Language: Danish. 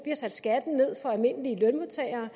har sat skatten ned for de almindelige lønmodtagere